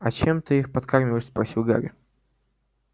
а чем ты их подкармливаешь спросил гарри